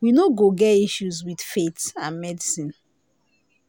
we no go get issues with faith and medicine